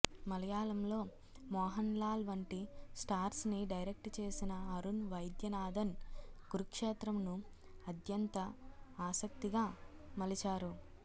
మలయాళంలో మోహన్ లాల్ వంటి స్టార్స్ ని డైరెక్ట్ చేసిన అరుణ్ వైద్యనాథన్ కురుక్షేత్రం ను అద్యంత ఆసక్తిగా మలిచారు